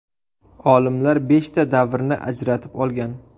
Olimlar beshta davrni ajratib olgan.